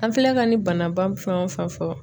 An filɛ ka nin banaba fɛn o fɛn fɔ